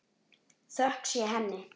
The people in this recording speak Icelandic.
Þökk sé henni.